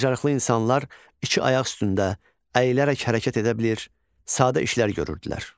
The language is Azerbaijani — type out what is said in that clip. Bacarıqlı insanlar iki ayaq üstündə əyilərək hərəkət edə bilir, sadə işlər görürdülər.